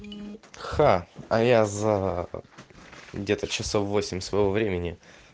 ха а я за где-то часов восемь своего времени